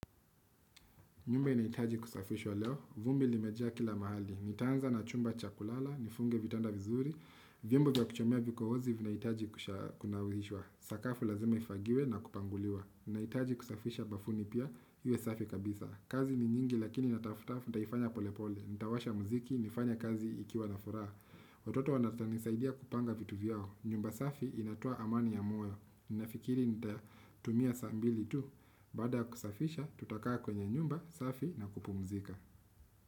Nyumba inahitaji kusafishwa leo, vumbi limejaa kila mahali, nitaanza na chumba cha kulala, nifunge vitanda vizuri, vyombo vya kuchomea vikohozi vinahitaji kunawishwa, sakafu lazima ifagiwe na kupanguliwa, ninahitaji kusafisha bafuni pia, iwe safi kabisa, kazi ni nyingi lakini natafuta, nitaifanya polepole, nitawasha muziki, nifanye kazi ikiwa na furaha, watoto wanawezanisaidia kupanga vitu vyao, nyumba safi inatoa amani ya moyo, ninafikiri nitatumia saa mbili tu. Baada kusafisha tutakaa kwenye nyumba safi na kupumzika.